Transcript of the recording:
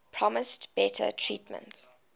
promised better treatment